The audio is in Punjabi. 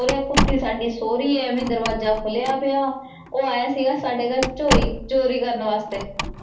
ਕੁਤੀ ਸਾਡੀ ਸੋ ਰਹੀ ਆ ਦਰਵਾਜਾ ਖੋਲਿਆ ਪਿਆ ਓਹ ਆਇਆ ਸੀਗਾ ਸਾਡੇ ਘਰ ਚੋਰੀ ਚੋਰੀ ਕਰਨ ਵਾਸਤੇ।